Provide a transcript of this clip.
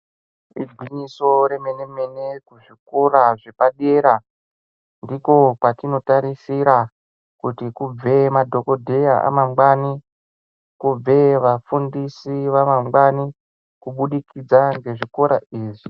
Igwinyiso remene-mene kuzvikora zvepadera, ndiko kwatinotarisira ,kuti kubve madhokodheya amangwani, kubve vafundisi vamangwani, kubudikidza ngezvikora izvi.